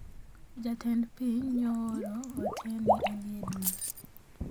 Jatend piny nyo ooro ote ne e liendno